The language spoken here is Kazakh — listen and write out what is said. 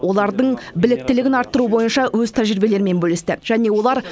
олардың біліктілігін арттыру бойынша өз тәжірибелерімен бөлісті және олар